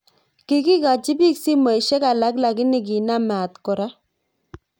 Kigikachi biik simosyek alak lakini kinam maat kora